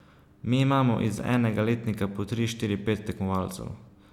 Mi imamo iz enega letnika po tri, štiri, pet tekmovalcev.